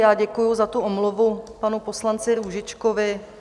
Já děkuji za tu omluvu panu poslanci Růžičkovi.